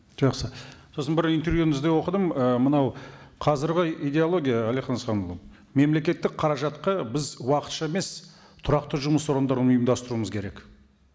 жақсы сосын бір интервьюіңізде оқыдым ы мынау қазіргі идеология әлихан асханұлы мемлекеттік қаражатқа біз уақытша емес тұрақты жұмыс орындарын ұйымдастыруымыз керек